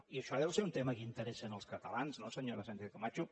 i això deu ser un tema que interessa als catalans no senyora sánchez camacho